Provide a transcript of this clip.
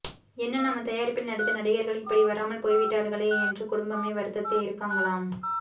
என்ன நம்ம தயாரிப்பில் நடித்த நடிகர்கள் இப்படி வராமல் போய்விட்டார்களே என்று குடும்பமே வருத்தத்தில் இருக்காங்களாம்